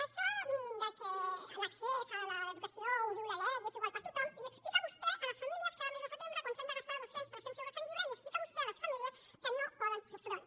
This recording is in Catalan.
això que l’accés a l’educació ho diu la lec i és igual per a tothom els ho explica vostè a les famílies cada mes de setembre quan s’han de gastar dos cents tres cents euros en llibres i els ho explica vostè a les famílies que no hi poden fer front